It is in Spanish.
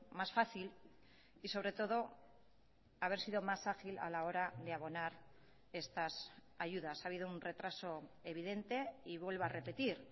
más fácil y sobre todo haber sido más ágil a la hora de abonar estas ayudas ha habido un retraso evidente y vuelvo a repetir